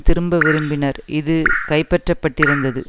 திரும்ப விரும்பினர் இது கைப்பற்றப்பட்டிருந்தது